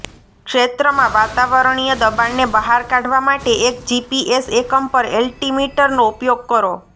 ક્ષેત્રમાં વાતાવરણીય દબાણને બહાર કાઢવા માટે એક જીપીએસ એકમ પર એલ્ટિમીટરનો ઉપયોગ કરો